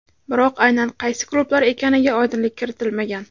Biroq aynan qaysi klublar ekaniga oydinlik kiritilmagan.